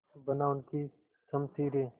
बना उनकी शमशीरें